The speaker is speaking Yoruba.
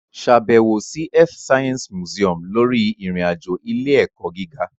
Ṣàbẹ̀wò sí Earth Science Museum lórí ìrìn-àjò ilé-ẹ̀kọ́ gíga.